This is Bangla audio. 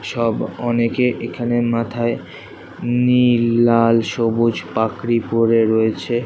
সব অনেকে এখানে মাথায় নীল লাল সবুজ পাগড়ী পরে রয়েছে।